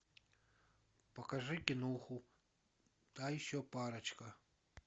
покажи киноху та еще парочка